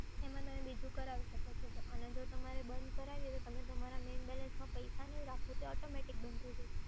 એમાં તમે બીજું કરાવી શકો છે અને જો તમારે જો બંધ કરાવી હોય તો તમે તમારા મેઈન બેલેન્સમાં પૈસા નઈ રાખો તો automatic બંધ થઈ જશે